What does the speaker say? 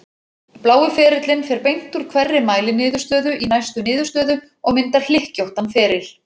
Blái ferillinn fer beint úr hverri mæliniðurstöðu í næstu niðurstöðu og myndar hlykkjóttan feril.